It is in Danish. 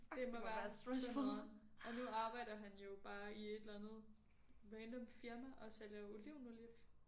Det må være så nederen og nu arbejder han jo bare i et eller andet random firma og sælger olivenolie